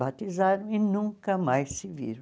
Batizaram e nunca mais se viram.